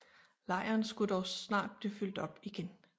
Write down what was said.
Lejren skulle dog snart blive fyldt op igen